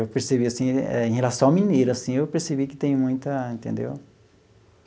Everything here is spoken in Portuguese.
Eu percebi assim, em relação ao mineiro, assim, eu percebi que tem muita, entendeu?